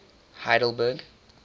heidelberg